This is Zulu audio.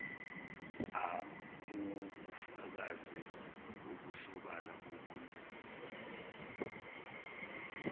uwubufakazi obusobala bobunini